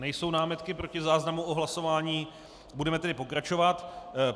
Nejsou námitky proti záznamu o hlasování, budeme tedy pokračovat.